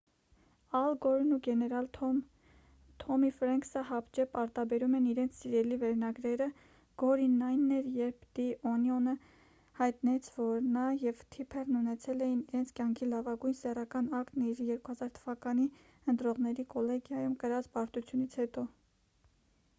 ալ գորն ու գեներալ թոմի ֆրենքսը հապճեպ արտաբերում են իրենց սիրելի վերնագրերը գորինն այն էր երբ «դի օնիոն»-ը հայտնեց որ նա և թիփերն ունեցել էին իրենց կյանքի լավագույն սեռական ակտն իր՝ 2000 թ.-ի ընտրողների կոլեգիայում կրած պարտությունից հետո: